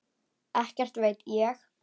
Ekkert veit ég.